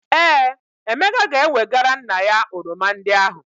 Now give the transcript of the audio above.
Ee, Emeka ga-ewegara nna ya oroma ndị ahụ.